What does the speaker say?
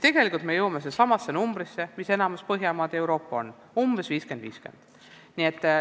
Tegelikult me saame sama suhte, mis on enamikus Põhjamaades ja mujal Euroopas: umbes 50 : 50.